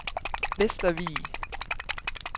Vestervig